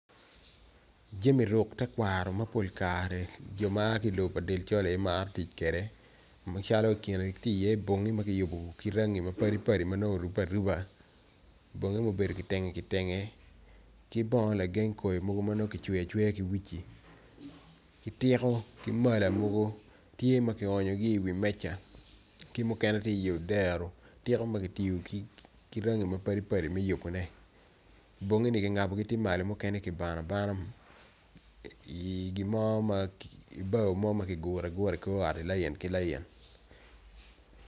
Jami ruk me tekwaro mapol kare jo ma aa ki lobo dil col aye gimaro tic kede calo kine tye i ye tye bongi makiyubo kirangi mapadi padi manong orube aruba bongi ne gubedo kitenge kibongo lagen koi mogo manongo kicweyo ki wuci kitiko ki mala mogo tye makionyo gi i wi meca kimukene tye i yodero tiko magitiyo ki rangi mapadipadi me yubo ne bongi ni kingabo tye malo mukene kibano abana i gimo ibao mo makiguro i kor ot lain ki lain.